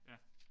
Ja